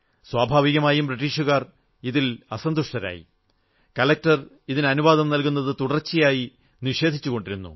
സ്വാഭാവികമായും ബ്രീട്ടീഷുകാർ ഇതിൽ അസന്തുഷ്ടരായി കളക്ടർ ഇതിന് അനുവാദം നല്കുന്നത് തുടർച്ചയായി നിഷേധിച്ചുകൊണ്ടിരുന്നു